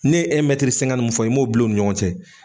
Ne ye mun fɔ, i m'o bila u ni ɲɔgɔn cɛ.